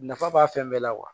Nafa b'a fɛn bɛɛ la kuwa